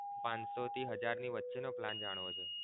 પાંચ સો થી હજાર વચ્ચે નો plan જાણવો છે?